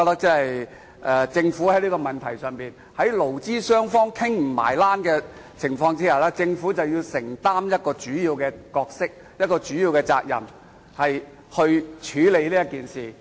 就這問題而言，在勞資雙方無法達成共識的情況下，政府必須擔當主要角色並承擔主要責任，處理此事。